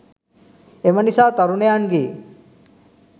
එම නිසා, තරුණයන්ගේ